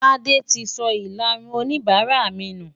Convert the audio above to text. Tádé ti sọ ìlarun oníbàárà mi nù.